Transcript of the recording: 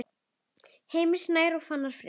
Heimir Snær og Fannar Freyr.